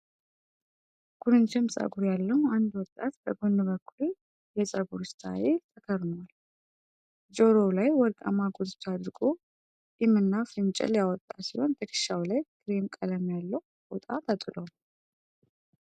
ኩርንችም ፀጉር ያለው አንድ ወጣት በጎን በኩል የ'fade' ፀጉር ስታይል ተከርሟል። ጆሮው ላይ ወርቃማ ጉትቻ አድርጎ፣ ጢምና ፍንጭል ያወጣ ሲሆን ትከሻው ላይ ክሬም ቀለም ያለው ፎጣ ተጥሏል።